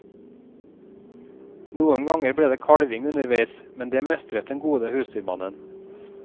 Noen ganger ble det kalving underveis, men det mestret den gode husdyrmannen.